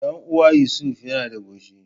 Dan uwa Yusuf yana da shago.